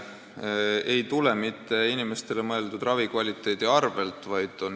See ei tule inimeste ravi kvaliteedi arvelt.